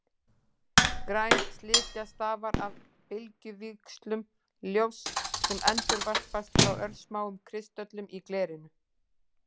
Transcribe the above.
Græn slikja stafar af bylgjuvíxlum ljóss sem endurvarpast frá örsmáum kristöllum í glerinu.